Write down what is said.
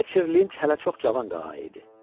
Fletcher Lind hələ çox cavan qağayı idi.